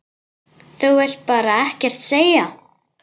Þú vilt bara ekkert segja.